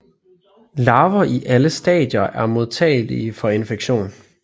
Larver i alle stadier er modtagelig for infektion